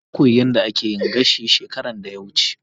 Na koyi yadda ake yin gashi shekaran da ya wuce.